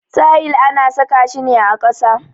Tayil ana saka shi ne ƙasa.